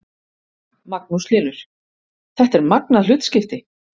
Magnús Hlynur: Þetta er magnað hlutskipti?